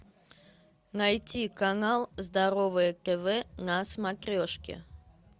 найти канал здоровое тв на смотрешке